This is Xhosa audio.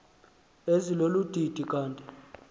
ezilolu didi kanti